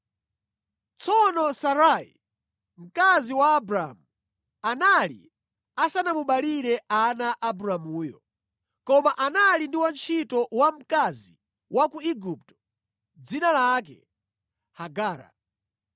Tsono Sarai, mkazi wa Abramu anali asanamuberekere ana Abramuyo. Koma anali ndi wantchito wamkazi wa ku Igupto dzina lake Hagara;